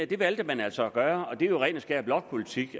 det valgte man altså at gøre og det er jo ren og skær blokpolitik